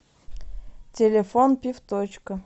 телефон пивточка